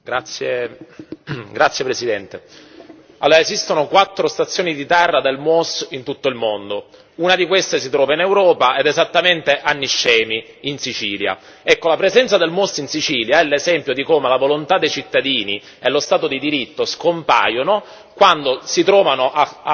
Signora Presidente, onorevoli colleghi, esistono quattro stazioni di terra del MUOS in tutto il mondo. Una di queste si trova in Europa ed esattamente a Niscemi, in Sicilia. La presenza del MUOS in Sicilia è l'esempio di come la volontà dei cittadini e lo Stato di diritto scompaiono quando si trovano a scontrarsi